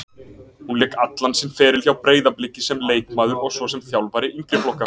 Hún lék allan sinn feril hjá Breiðabliki sem leikmaður og svo sem þjálfari yngri flokka.